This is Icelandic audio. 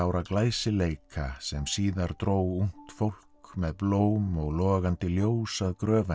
glæsileika sem síðar dró ungt fólk með blóm og logandi ljós að gröf hennar